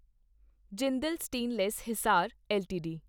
Jindal stainless Hisar LTD